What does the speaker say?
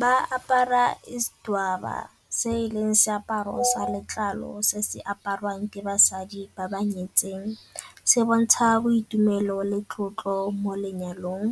Ba apara isidwaba se e leng seaparo sa letlalo se se apariwang ke basadi ba ba nyetseng, se bontsha boitumelo le tlotlo mo lenyalong.